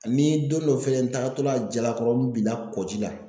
Ani don dɔ fɛnɛ n tagatɔ la Jalakɔrɔ n binna kɔji la.